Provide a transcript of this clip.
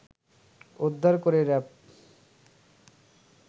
উদ্ধার করে র‌্যাব